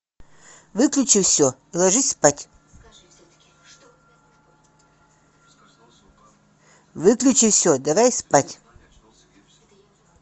выключи все ложись спать выключи все давай спать